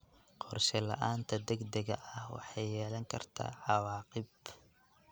Qorshe la'aanta degdega ah waxay yeelan kartaa cawaaqib.